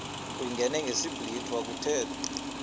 uyingene ngesiblwitha kuthethwa